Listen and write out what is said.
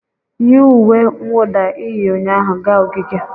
yi uwe mwụda ị yi ụnyaahụ gaa ogige!